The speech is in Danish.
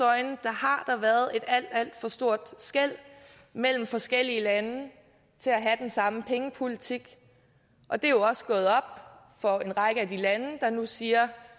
øjne har der været et alt alt for stort skel mellem forskellige lande til at have den samme pengepolitik og det er jo også gået op for en række af de lande der nu siger